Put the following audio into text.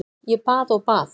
Ég bað og bað.